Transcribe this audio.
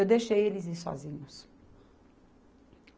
Eu deixei eles irem sozinhos.